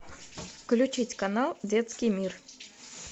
включить канал детский мир